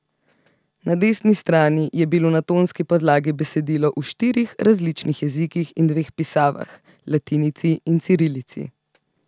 Na desni strani je bilo na tonski podlagi besedilo v štirih različnih jezikih in dveh pisavah, latinici in cirilici.